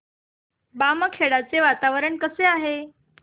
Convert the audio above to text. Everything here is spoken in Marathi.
बामखेडा चे वातावरण कसे आहे